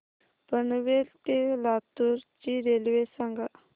पनवेल ते लातूर ची रेल्वे सांगा